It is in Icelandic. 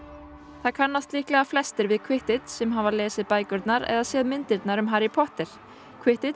það kannast líklega flestir við Quidditch sem hafa lesið bækurnar eða séð myndirnar um Harry Potter